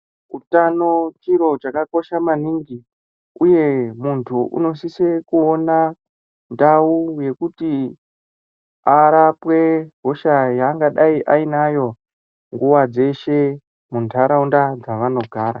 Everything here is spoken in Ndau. Utano chiro chakakosha maningi uye muntu unosisa kuona ndau yekuti arape hosha yaangadai ainayo mundaraunda dzavanogara.